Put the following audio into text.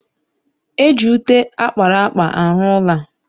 Eji ute akpara akpa arụ ụla